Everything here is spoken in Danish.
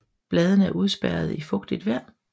Bladene er udspærrede i fugtigt vejr